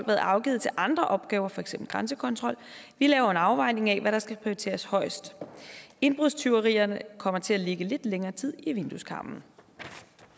været afgivet til andre opgaver for eksempel grænsekontrol vi laver en afvejning af hvad der skal prioriteres højest indbrudstyverierne kommer til at ligge lidt længere tid i vindueskarmen